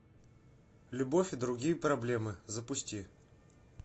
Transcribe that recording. любовь и другие проблемы запусти